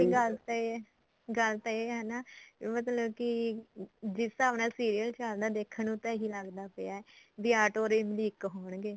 ਗੱਲ ਤਾਂ ਇਹ ਏ ਗੱਲ ਤਾਂ ਇਹ ਏ ਨਾ ਮਤਲਬ ਕੀ ਜਿਸ ਹਿਸਾਬ ਨਾਲ serial ਚੱਲਦਾ ਦੇਖਣ ਨੂੰ ਤਾਂ ਇਹੀ ਲੱਗਦਾ ਪਿਆ ਬੀ ਆਟੋ or ਇਮਲੀ ਇੱਕ ਹੋਣਗੇ